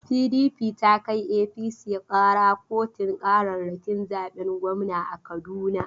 PDP ta kai APC ƙara kotun ƙararrakin zaben gwamna a Kaduna.